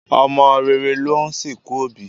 Ọmọ rere ló ń sìnkú òbí